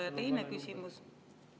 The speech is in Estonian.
Ja teine küsimus …